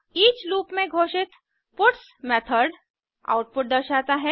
each loop में घोषित puts method output दर्शाता है